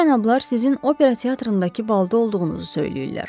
Bu cənablar sizin opera teatrındakı balda olduğunuzu söyləyirlər.